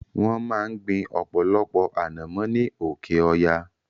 Wọ́n máa ń gbin ọ̀pọ̀lọpọ̀ anomo ni oke-oya